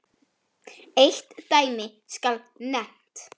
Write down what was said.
Eitt dæmi skal nefnt.